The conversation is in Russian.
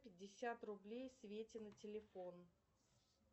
пятьдесят рублей свете на телефон